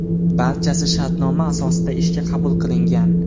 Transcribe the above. Barchasi shartnoma asosida ishga qabul qilingan.